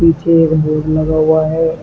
यह एक बोर्ड लगा हुआ है।